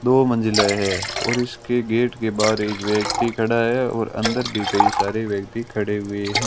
दो मंजिले हैं और इसके गेट के बाहर एक व्यक्ति खड़ा है और अंदर भी कई सारे व्यक्ति खड़े हुए हैं।